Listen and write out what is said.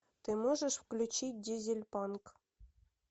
ты можешь включить дизельпанк